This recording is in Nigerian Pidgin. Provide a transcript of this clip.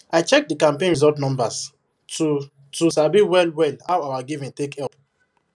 i check the campaign result numbers to to sabi well well how our giving take help